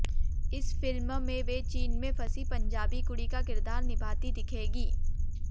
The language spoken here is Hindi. इस फिल्म में वे चीन में फंसी पंजाबी कुड़ी का किरदार निभाती दिखेंगी